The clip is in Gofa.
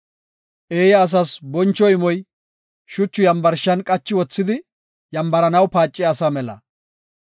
Eeya asas boncho imoy, shuchu yambarshan qachi wothidi yambaranaw paaciya asa mela.